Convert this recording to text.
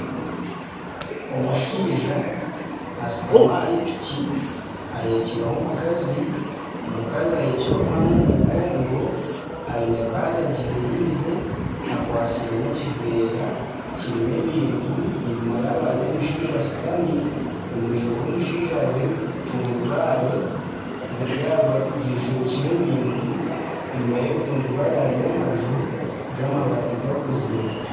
Omushaija ashutami ahari piki ahekireho omukazi. Omukazi ahekire omwana omu mugongo, aine baga agyeriize, akwatsire n'ekiveera kirimu ebintu. Enyima yaabo hariyo omushaija ashutami omu maisho g'omushaija hariho ebitundubaare bishwekire ebintu. Enyima y'ebitundubaare hariyo amaju g'amabaati gakozire.